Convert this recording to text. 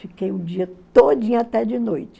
Fiquei o dia todinho até de noite.